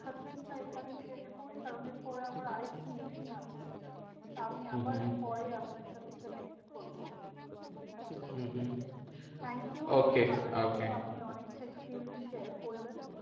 Discussion টা এইখানেই শেষ করি। কারণ এর পরে আমার আরেকটা meeting আছে। তো আমি আবার হম হম এর পরে আপনার সাথে connect করবো। ঠিকাছে? হম হম thank you okay okay অনেক ভালো লাগলো আপনি অনেক experience share করলেন।